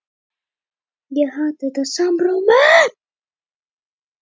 Efnafræðilega þýðir þetta einfaldlega að þessar jónir taka ekki þátt í efnahvarfinu.